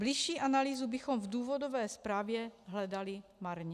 Bližší analýzu bychom v důvodové zprávě hledali marně.